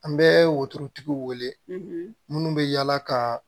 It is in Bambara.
An bɛ wotorotigi wele minnu bɛ yaala ka